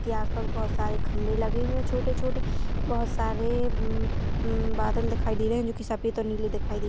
-- के आस पास बोहोत सारे खम्बे लगे हुए है छोटे छोटे बोहोत सारे अम अम बादल दिखाई दे रहे है जोकी सफेद और नीले दिखाई दे--